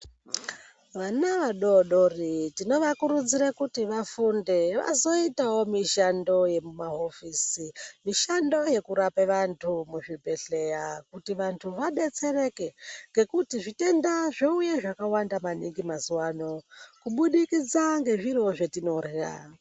Vana vadoodori tinovakurudzira kuti vafunde, vazoitawo mishando yemumahofisi. Mishando yekurapa vanthu muzvibhedhlera, kuti vanthu vadetsereke ngekuti zvitenda zvouya zvakawanda maningi mazuwa ano, mubudikidza ngezviro zvetinorya.